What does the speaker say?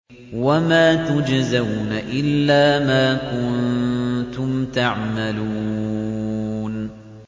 وَمَا تُجْزَوْنَ إِلَّا مَا كُنتُمْ تَعْمَلُونَ